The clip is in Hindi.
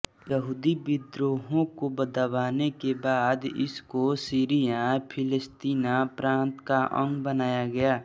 यहूदी विद्रोहों को दबाने के बाद इसको सीरिया फिलेस्तीना प्रांत का अंग बनाया गया